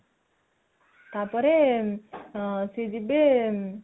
ତାପରେ ସିଏ ଯିବେ